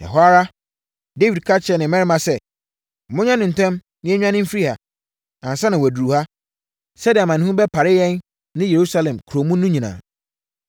Ɛhɔ ara, Dawid ka kyerɛɛ ne mmarima sɛ, “Monyɛ no ntɛm na yɛnnwane mfiri ha, ansa na waduru ha, sɛdeɛ amanehunu bɛpare yɛn ne Yerusalem kuro mu no nyinaa.”